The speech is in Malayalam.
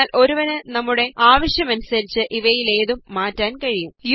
എന്നാല് ഒരുവന് നമ്മുടെ ആവശ്യം അനുസരിച്ച് ഇവയിലേതും മാറ്റാന് കഴിയും